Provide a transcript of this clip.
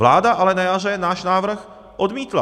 Vláda ale na jaře náš návrh odmítla.